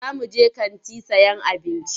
Za muje kanti sayan abinci.